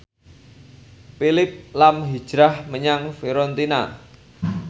Phillip lahm hijrah menyang Fiorentina